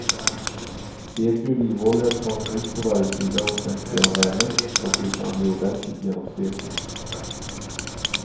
Stek i olivolja ett par minuter på varje sida och sänk sedan värmen så att biffarna blir ordentligt genomstekta.